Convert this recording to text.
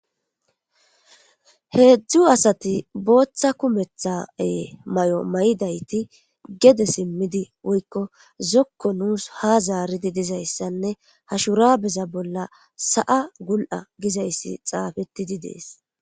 Hezu asati botha kumetha mayo mayidizi gede simidi woyiko zoko nus hazaridi dizayisane ha shurabeza bolla sa7a guli7agizays xapetidi de7es